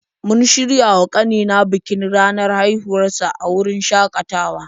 Mun shirya wa ƙanina bikin ranar haihuwar sa a wurin shakatawa.